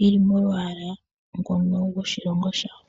yili molwala ngono gwoshilongo shawo.